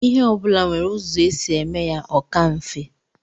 Ihe ọbụla nwere ụzọ e si eme ya o ka mfe.